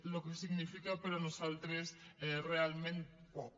el que significa per a nosaltres és realment poc